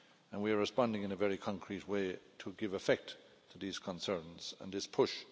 We are responding in a very concrete way to give effect to these concerns and this push.